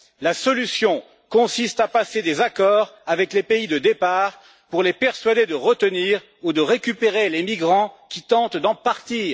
La solution consiste à passer des accords avec les pays de départ pour les persuader de retenir ou de récupérer les migrants qui tentent d'en partir.